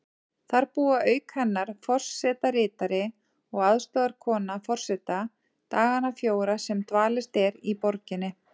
Þar búa auk hennar forsetaritari og aðstoðarkona forseta dagana fjóra sem dvalist er í borginni.